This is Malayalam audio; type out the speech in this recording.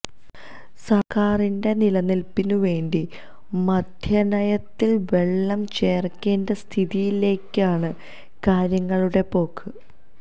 സർക്കാരിന്റെ നിലനിൽപ്പിന് വേണ്ടി മദ്യനയത്തിൽ വെള്ളം ചേർക്കേണ്ട സ്ഥിതിയിലേക്കാണ് കാര്യങ്ങളുടെ പോക്ക്